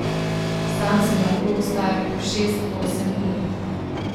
Sam sem lahko ostajal po šest, osem ur.